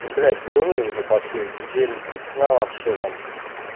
ну блять голюны уже пошли неделю без сна вообще там